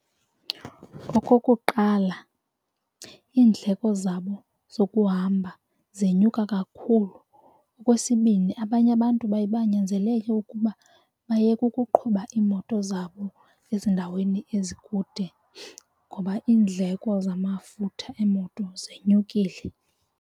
Okokuqala, iindleko zabo zokuhamba zenyuka kakhulu. Okwesibini, abanye abantu baye banyanzeleke ke ukuba bayeke ukuqhuba imoto zabo ezindaweni ezikude ngoba iindleko zamafutha emoto zenyukile.